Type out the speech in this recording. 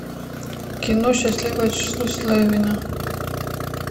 кино счастливое число слевина